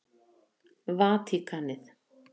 Vatíkanið